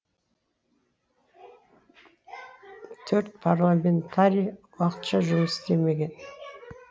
төрт парламентарий уақытша жұмыс істемеген